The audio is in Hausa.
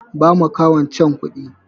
Ba makahon can kuɗi!